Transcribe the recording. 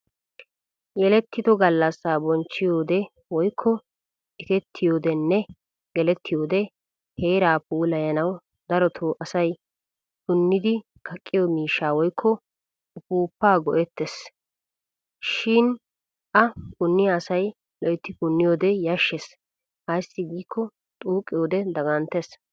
Yelettido gallassaa bonchchiyode woykko ekettiyoodenne gelettiyoode heeraa puulayanawu darotoo asay punnidi kaqqiyo miishshaa woykko ufuuffaa go'ettes. Shi a punniya asay loytti punniyoode yashshes ayssi giikko xuuqqiyoode daganttes.